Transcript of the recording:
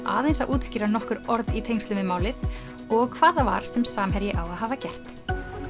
aðeins að útskýra nokkur orð í tengslum við málið og hvað það var sem Samherji á að hafa gert